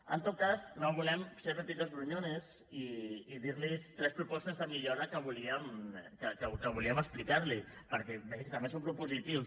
en tot cas no volem ser pepitos gruñones i dir los tres propostes de millora que volíem explicar li perquè vegi que també som propositius